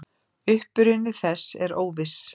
Uppruni þess er óviss.